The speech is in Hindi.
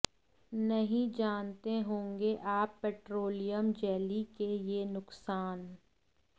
नहीं जानते होंगे आप पेट्रोलियम जैली के ये नुकसान